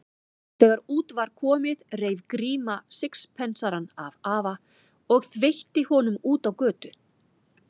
Þegar út var komið reif Gríma sixpensarann af afa og þveitti honum út á götu.